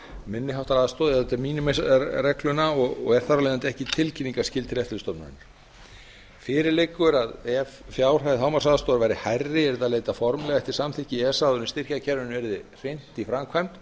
minni háttar aðstoð eða eftir minimaxreglunni og er þar af leiðandi ekki tilkynningarskyld til eftirlitsstofnunar fyrir liggur að ef fjárhæð hámarksaðstoðar væri hærri yrði að leita formlega eftir samþykki esa áður en styrkjakerfinu yrði hrint í framkvæmd